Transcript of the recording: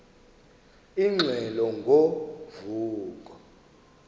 ingxelo ngo vuko